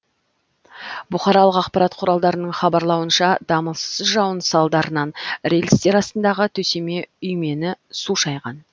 бұқаралық ақпарат құралдарының хабарлауынша дамылсыз жауын салдарынан рельстер астындағы төсеме үймені су шайған